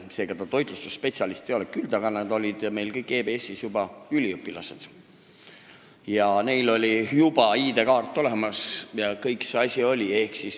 Nii et nad toitlustusspetsialistid ei olnud, küll aga olid nad meil EBS-is üliõpilased ja neil oli juba ka ID-kaart olemas.